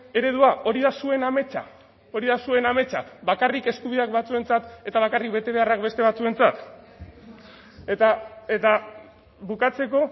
eredua hori da zuen ametsa hori da zuen ametsa bakarrik eskubideak batzuentzat eta bakarrik bete beharrak beste batzuentzat eta eta bukatzeko